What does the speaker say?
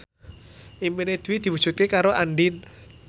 impine Dwi diwujudke karo Andien